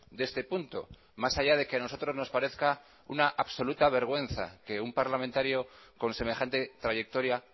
de este punto más allá de que a nosotros nos parezca una absoluta vergüenza que un parlamentario con semejante trayectoria